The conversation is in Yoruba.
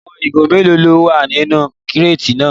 Àwọn ìgò mélòó ló wà nínú kíràtì náà?